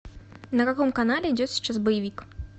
на каком канале идет сейчас боевик